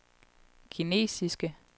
kinesiske